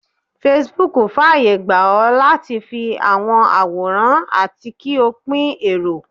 Facebook faye gba o lati fi awọn aworan ati ki o pin ero.